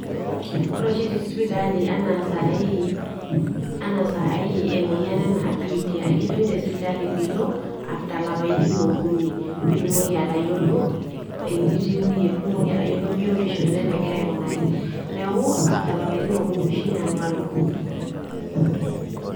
Ore oshi tesipitali ena sai ena sai emoyian ena bitia, ekijokini tesipitali pilo after ilapaitin okuni, pitumoki enitiu iyie pitumoki atayiolo biotisho ino enenngira aikunari, niaku after lapaitin okuni oshi nanu alo.